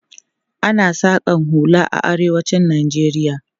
Ana saƙan hula a arewacin Najeriya.